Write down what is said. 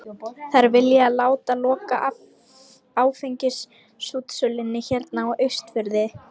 Þær vilja láta loka áfengisútsölunni hérna á Austurfirði!